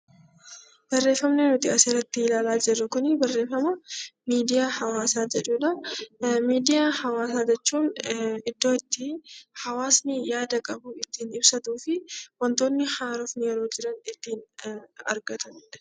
Barreeffamni nuti asirratti ilaala jirru kun barreeffama miidiyaa hawaasa jedhudha. Miidiyaa hawaasa jechuun iddoo itti hawaasni yaada qabu ittin ibsatuu fi wantoonni haaraa yoo jiran ittin argatanidha.